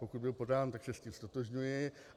Pokud byl podán, tak se s ním ztotožňuji.